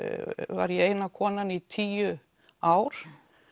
var ég eina konan í tíu ár